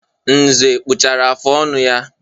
Nze kpachara afụ ọnụ ya.